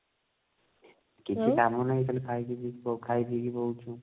କିଛି କାମ ନାହିଁ ଖାଲି ଖାଇ ପିଇକି ଖାଇ ପିଇକି ବଉଛୁ